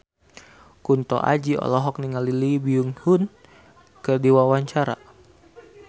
Kunto Aji olohok ningali Lee Byung Hun keur diwawancara